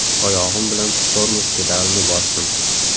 Oyog‘im bilan tormoz pedalini bosdim.